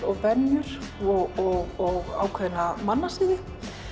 og venjur og ákveðna mannasiði